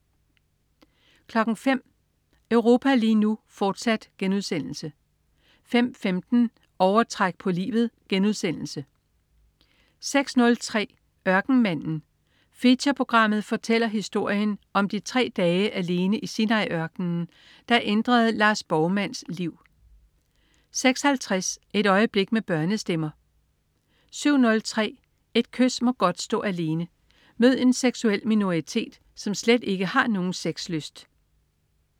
05.00 Europa lige nu, fortsat* 05.15 Overtræk på livet* 06.03 Ørkenmanden. Featureprogrammet fortæller historien om de tre dage alene i Sinai-ørkenen, der ændrede Lars Borgmans' liv 06.50 Et øjeblik med børnestemmer 07.03 Et kys må godt stå alene. Mød en seksuel minoritet, som slet ikke har nogen sexlyst